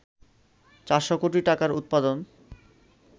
৪০০ কোটি টাকার উৎপাদন